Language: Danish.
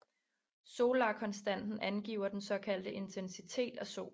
Solarkonstanten angiver den såkaldte intensitet af solen